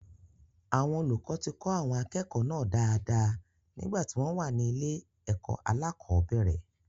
Àwọn olùkọ ti kọ́ àwọn akẹ́kọ̀ọ́ náà dáadáa nígbà tí wọ́n wà ní ilé-ẹ̀kó aláàkọ́bẹ̀rẹ̀.